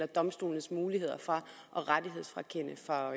domstolenes muligheder for rettighedsfrakendelse for